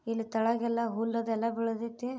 ಇದ್ರೂ ಕೆಳಗೆಲ್ಲ ಹುಲ್ಲೆಲ್ಲಾ ಬೆಳದೈತಿ.